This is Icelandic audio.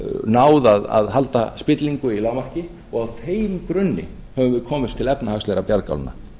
náð að halda spillingu í lágmarki og á þeim grunni höfum við komist til efnahagslegra bjargálna